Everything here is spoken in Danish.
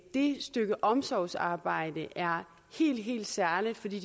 det stykke omsorgsarbejde er helt helt særligt fordi